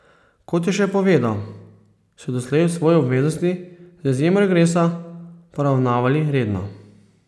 Kot je še povedal, so doslej svoje obveznosti z izjemo regresa poravnavali redno.